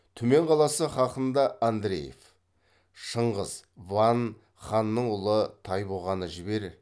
түмен қаласы хақында андреев шыңғыс ван ханның ұлы тайбұғаны жібер